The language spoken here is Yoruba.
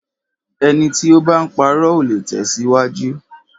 Ẹni tí o bá ń parọ́, ò le tẹ̀síwájú.